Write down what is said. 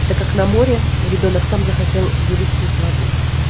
это как на море ребёнок сам захотел вылезти из воды